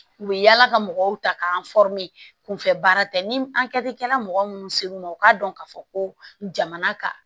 U bɛ yala ka mɔgɔw ta k'an kunfɛ baara tɛ ni an kɛtikɛla mɔgɔ minnu ser'u ma u k'a dɔn k'a fɔ ko jamana ka